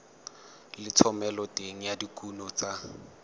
le thomeloteng ya dikuno tsa